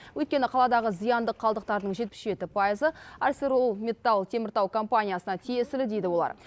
өйткені қаладағы зиянды қалдықтардың жетпіс жеті пайызы арселормитталтеміртау компаниясына тиесілі дейді олар